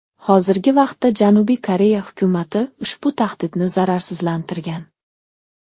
Hozirgi vaqtda Janubiy Koreya hukumati ushbu tahdidni zararsizlantirgan.